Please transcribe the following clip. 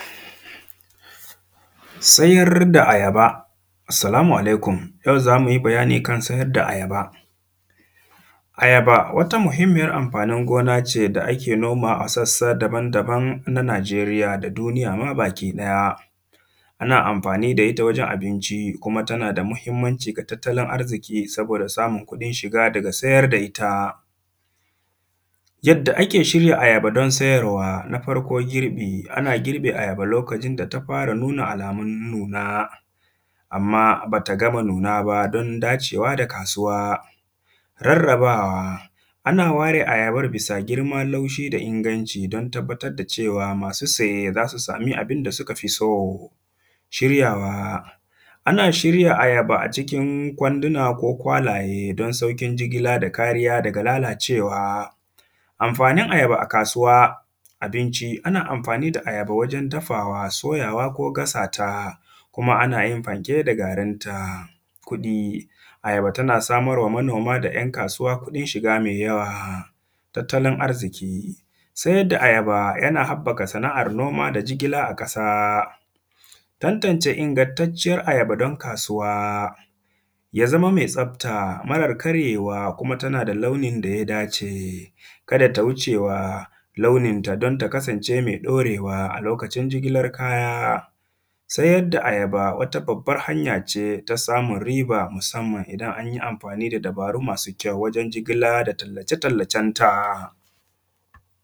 Sayar da ayaba. Salamu alaikum, yau za mu yi bayani kan sayar da ayaba Ayaba wata muhimmiyar amfanin gona ce da ake nomawa a sassa daban-daban na Najeriya da duniya ma bakiɗaya ana amfanii da ita wajen abinci, kuma tana da muhimmanci ga tattalin arziƙi saboda samun kuɗin shiga daga sayar da ita Yadda ake shirya ayaba don sayarwa, na farko girbi, ana girbe ayaba lokacin da ta fara nuna alamun nuna, amma ba ta gama nuna ba, don dacewa da kasuwa Rarrabawa, ana ware ayabar bisa girma, laushi da inganci don tabbatar da cewa, masu saye za su sami abin da suka fi so Shiryawa, ana shirya ayaba a cikin kwanduna ko kwalaye don sauƙin jigila da kariya daga lalacewa Amfanin ayaba a kasuwa, abinci, ana amfani da ayaba wajen dafawa, soyawa ko gasa ta kuma ana yin fanke da garin ta. Kuɗi, ayaba tana samar wa manoma da ‘yan kasuwa kuɗin shiga mai yawa Tattalin arziƙi, sayar da ayaba yana haƃƃaka sana’ar noma da jigila a ƙasa Tantance ingantacciyar ayaba don kasuwa, ya zama me tsafta marar karyewa, kuma tana da launin da ya dace Kada ta wuce wa launinta don ta kasance me ɗorewa a lokacin jigilar kaya Sayar da ayaba wata babbar hanya ce ta samun riba musamman idan an yi amfani da dabaru masu kyau wajen jigila da tallace-tallacen ta